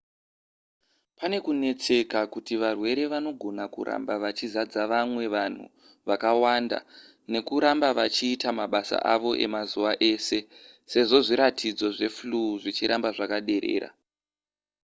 pane kunetseka kuti varwere vanogona kuramba vachizadza vamwe vanhu vakawanda nekuramba vachiita mabasa avo emazuva ese sezvo zviratidzo zveflu zvichiramba zvakaderera